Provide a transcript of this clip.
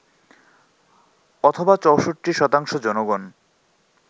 অথবা ৬৪% জনগণ